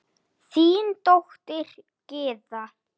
Þín dóttir Gyða.